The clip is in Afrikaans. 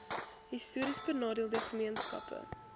histories benadeelde gemeenskappe